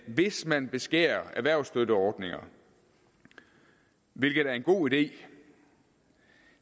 hvis man beskærer erhvervsstøtteordninger hvilket er en god idé